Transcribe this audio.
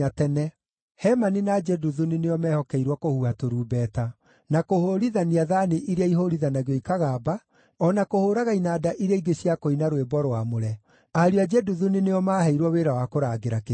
Hemani na Jeduthuni nĩo meehokeirwo kũhuha tũrumbeta, na kũhũũrithania thaani iria ihũũrithanagio ikagamba, o na kũhũũraga inanda iria ingĩ cia kũina rwĩmbo rwamũre. Ariũ a Jeduthuni nĩo maaheirwo wĩra wa kũrangĩra kĩhingo.